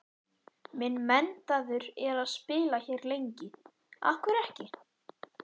Minn metnaður er að spila hér lengi, af hverju ekki?